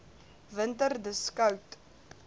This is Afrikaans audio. winter dis koud